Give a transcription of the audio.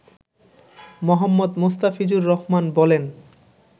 মো. মোস্তাফিজুর রহমান বলেন